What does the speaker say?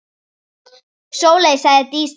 Sóley, sagði Dísa.